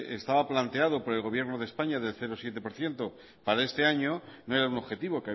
estaba planteado por el gobierno de españa del cero coma siete por ciento para este año no era un objetivo